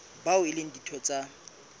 bao e leng ditho tsa